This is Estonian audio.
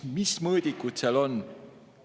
Mis mõõdikuid seal ikkagi on?